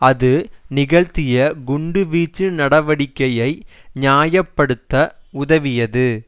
அது நிகழ்த்திய குண்டுவீச்சு நடவடிக்கையை நியாய படுத்த உதவியது